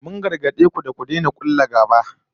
Mun gargade ku da ku daina kulla gaba